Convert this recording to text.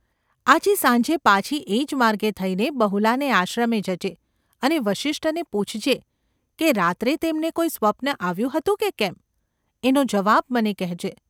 આજે સાંજે પાછી એ જ માર્ગે થઈને બહુલાને આશ્રમે જજે અને વસિષ્ઠને પૂછજે, કે રાત્રે તેમને કોઈ સ્વપ્ન આવ્યું હતું કે કેમ ? એનો જવાબ મને કહેજે.